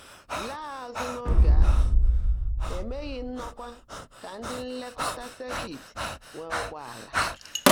Làá ázụ́ n’óge áhụ́, é meèghị́ ndòkwá kà ndị́ nlèkọ́tá sèkịt nwèé ụ́gbọ́áàlà.